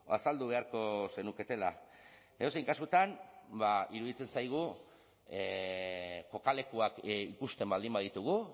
azaldu beharko zenuketela edozein kasutan iruditzen zaigu kokalekuak ikusten baldin baditugu